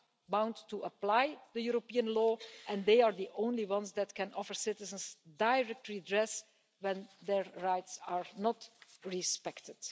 are bound to apply European law and they are the only ones that can offer citizens direct redress when their rights are not respected.